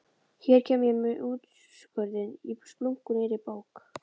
Hér kem ég með úrskurðinn í splunkunýrri bók!